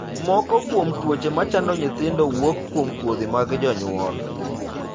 Moko kuom tuoche ma chando nyithindo wuok kuom kodhi mag jonyuol.